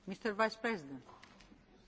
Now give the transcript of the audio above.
Tisztelt elnök asszony!